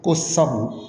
Ko sabu